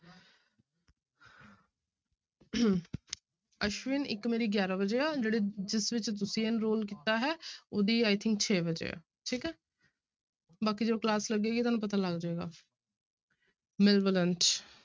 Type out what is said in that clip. ਅਸ਼ਵਿਨ ਇੱਕ ਮੇਰੀ ਗਿਆਰਾਂ ਵਜੇ ਆ ਜਿਹੜੇ ਜਿਸ ਵਿੱਚ ਤੁਸੀਂ enroll ਕੀਤਾ ਹੈ ਉਹਦੀ i think ਛੇ ਵਜੇ ਹੈ ਠੀਕ ਹੈ ਬਾਕੀ ਜਦੋਂ class ਲੱਗੇਗੀ ਤੁਹਾਨੂੰ ਪਤਾ ਲੱਗ ਜਾਏਗਾ malevolent